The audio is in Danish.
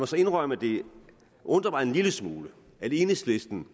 så indrømme at det undrer mig en lille smule at enhedslisten